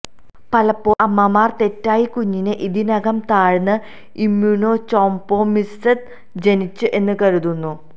പലപ്പോഴും അമ്മമാർ തെറ്റായി കുഞ്ഞിനെ ഇതിനകം താഴ്ന്ന ഇംമുനൊചൊംപ്രൊമിസെദ് ജനിച്ചത് എന്ന് കരുതുന്നു